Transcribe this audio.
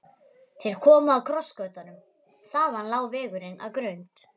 Þeir komu að krossgötunum, þaðan lá vegurinn að Grund.